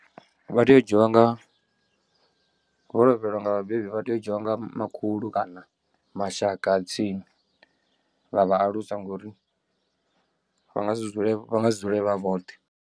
Vha tea u dzhiwa nga vho lovhelwa nga vhabebi vha tea u dzhiwa nga makhulu kana mashaka a tsini, vha vha alusa ngori vha nga si dzule vha nga si dzule vha vhoṱhe.